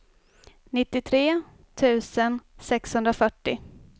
nittiotre tusen sexhundrafyrtio